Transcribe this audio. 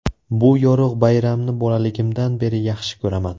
Bu yorug‘ bayramni bolaligimdan beri yaxshi ko‘raman.